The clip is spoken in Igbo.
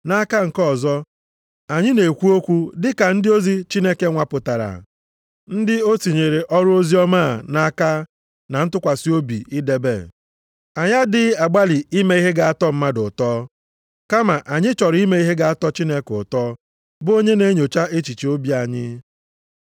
Nʼaka nke ọzọ, anyị na-ekwu okwu dị ka ndị ozi Chineke nwapụtara, ndị o tinyere ọrụ oziọma a nʼaka na ntụkwasị obi idebe. Anyị adịghị agbalị ime ihe ga-atọ mmadụ ụtọ, kama anyị chọrọ ime ihe ga-atọ Chineke ụtọ, bụ onye na-enyocha echiche obi anyị.